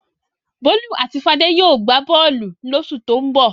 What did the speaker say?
Bólú àti Fadé yóò gbá bọ́ọ́lù lóṣù tó ń bọ̀.